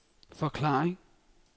forklaring